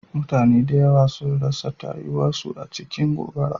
Mutane da yawa sun rasa tayuwa su a cikin gobara.